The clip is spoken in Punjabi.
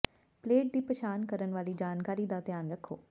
ਪਲੇਟ ਦੀ ਪਛਾਣ ਕਰਨ ਵਾਲੀ ਜਾਣਕਾਰੀ ਦਾ ਧਿਆਨ ਰੱਖੋ